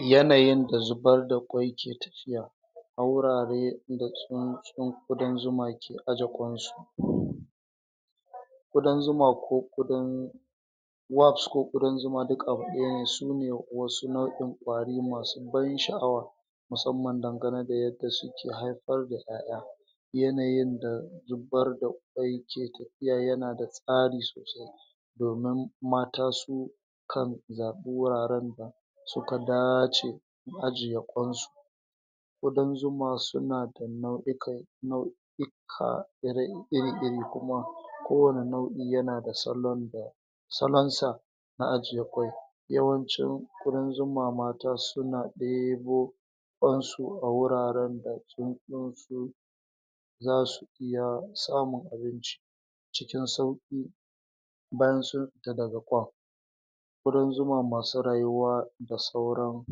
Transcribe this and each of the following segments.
yanayin da zubar da ƙwai ke tafiya a wurare da tsuntsun ƙudan zuma ke aje ƙwansu ƙudan zuma ko ƙudan wax ko ƙudan zuma duk abu ɗaya ne su ne wasu nau'in ƙwari masu ban sha'awa musamman dangane da yadda suke haifar da ƴaƴa yanayin da zubar da ƙwai ke tafiya yana da tsari sosai domin mata su kan zaɓi wuraren da suka dace ajiywa ƙwansu ƙudan zuma suna da nau'ikan nau'ika ire iri-iri kuma kowane nau'i yana da salon da salonsa na ajiye ƙwai yawancin ƙudan zuma mata suna ɗebo ƙwansu a wuraren da tsuntsunsu zasu iya samun abinci cikin sauƙi bayan sun fita daga ƙwan ƙudan zuma masu rayuwa da sauran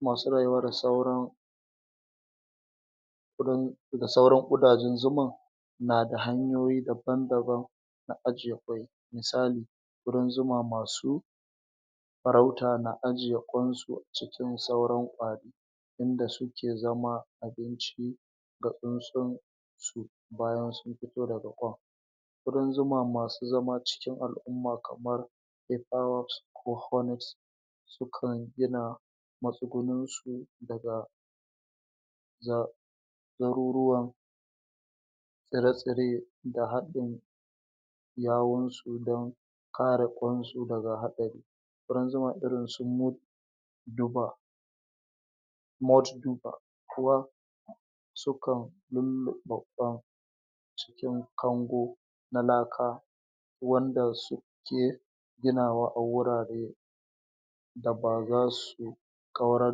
masu rayuwa da sauran ƙudan da sauran ƙudajen zuman nada hanyoyi daban-daban na ajiye ƙwai misali ƙudan zuma masu farauta na ajiye ƙwansu a cikin sauran ƙwari inda suke zama abinci ga tsuntsun su bayan suyn fito daga ƙwan ƙudan zuma masu zama cikin al'umma kamar paper wax ko honex sukan gina matsugunninsu daga za garuruwan tsire-tsire da haɗin yawunsu don kare ƙwansu daga haɗari ƙudan zuma irin su mud diba mouth viba kuwa sukan lulluɓe ƙwan cikin kango na laka wanda suke ginawa a wurare da ba zasu ƙwaura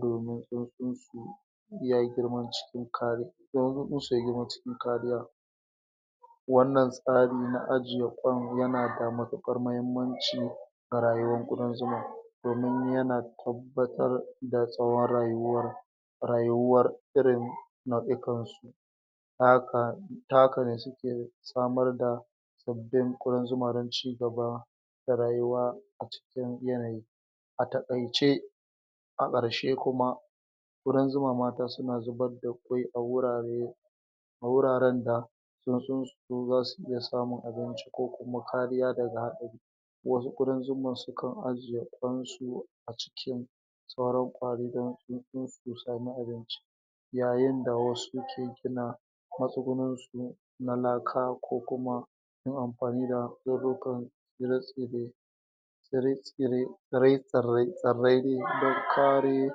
domin tsuntsunsu ya yi girman cikin kari, domin tsuntsun su ya girma cikin kariya wannan tsari na ajiye ƙwan yana da matuƙar muhimmanci ga rayuwan ƙudan zuma don yana tabbatar da tsawon rayuwar rayuwar irin nau'ikan su ta haka, ta haka ne suke samar da sabbin ƙudan zuma don cigaba da rayuwa a cikin yanayi, a taƙaice a ƙarshe kuma ƙudan zuma mata suna zubar da ƙwai a wurare a wuraren da tsuntsun su zasu iya samun abinci ko kuma kariya daga haɗari wasu ƙudan zuman suka ajiye ƙwansu a cikin sauran ƙwari don tsuntsunsu su samu abinci yayin da wasu ke gina matsuguninsu na laka ko kuma amfani da nau'ukan tsire-tsire tsire-tsire, tsirai-tsirai tsirrai don kare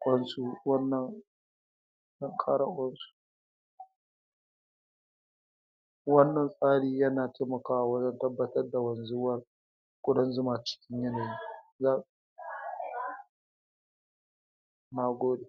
ƙwansu wannan don kare ƙwansu wannan tsari yana taimakawa wajen tabbatar da wanzuwa ƙudan zuman cikin yanayi ya nagode